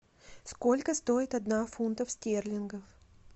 сколько стоит одна фунтов стерлингов